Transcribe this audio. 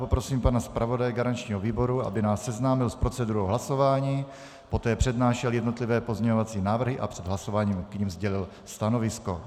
Poprosím pana zpravodaje garančního výboru, aby nás seznámil s procedurou hlasování, poté přednášel jednotlivé pozměňovací návrhy a před hlasováním k nim sdělil stanovisko.